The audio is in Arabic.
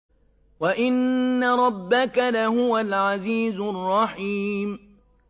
وَإِنَّ رَبَّكَ لَهُوَ الْعَزِيزُ الرَّحِيمُ